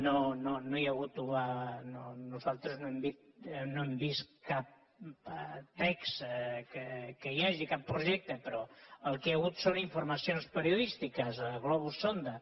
no no hi ha hagut nosaltres no hem vist cap text que hi hagi cap projecte però el que hi ha hagut són informacions periodístiques globus sonda